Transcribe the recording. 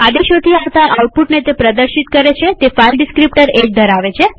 તે આદેશોથી આવતા આઉટપુટને પ્રદર્શિત કરે છેતે ફાઈલ ડીસ્ક્રીપ્ટર 1 ધરાવે છે